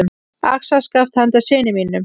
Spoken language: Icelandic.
Axarskaft handa syni mínum.